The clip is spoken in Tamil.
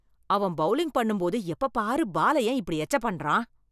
அவன் பவுலிங் பண்ணும்போது எப்ப பாரு பால ஏன் இப்படி எச்ச பண்றான்?